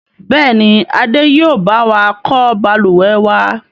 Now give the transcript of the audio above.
Bẹ́ẹ̀ni, Adé yìí ó bá wà kọ́ Balùwẹ̀ wa.